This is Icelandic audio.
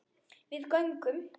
Við göngum